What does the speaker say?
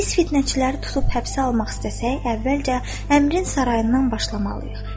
Biz fitnəçiləri tutub həbsə almaq istəsək, əvvəlcə Əmirin sarayından başlamalıyıq.